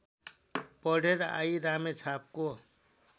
पढेर आई रामेछापको